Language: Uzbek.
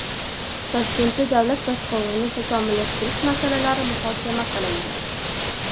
Toshkentda davlat boshqaruvini takomillashtirish masalalari muhokama qilindi.